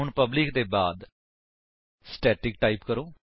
ਹੁਣ ਪਬਲਿਕ ਦੇ ਬਾਅਦ ਸਟੈਟਿਕ ਟਾਈਪ ਕਰੋ